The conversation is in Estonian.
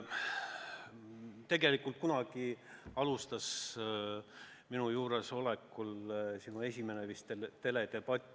Tegelikult, kunagi oli minu juuresolekul vist sinu esimene teledebatt.